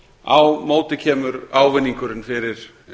á móti kemur ávinningurinn fyrir